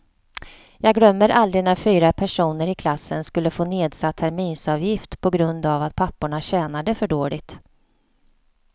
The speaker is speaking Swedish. Jag glömmer aldrig när fyra personer i klassen skulle få nedsatt terminsavgift på grund av att papporna tjänade för dåligt.